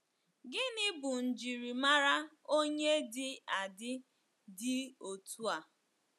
Gịnị bụ njirimara onye dị adi dị otu a?